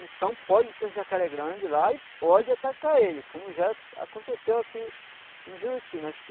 Então pode ter um jacaré grande lá e pode atacar ele, como já aconteceu aqui em Juruti. Nós